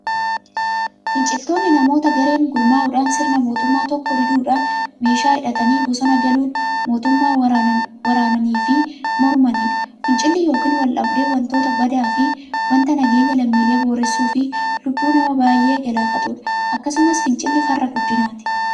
Finciltoonni namoota gareen gurmaa'udhaan sirna mootummaa tokkoo diduudhan meeshaa hidhatanii bosona galuun mootummaa waraananiifi mormaniidha. Fincilli yookiin waldhabdeen wanta badaafi wanta nageenya lammiilee boreessuufi lubbuu nama baay'ee galaafatuudha. Akkasumas fincilli farra guddinaati.